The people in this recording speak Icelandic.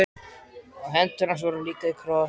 Og hendur hans voru líka í kross.